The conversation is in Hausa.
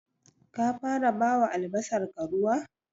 Ka fara bawa albasarka ruwa?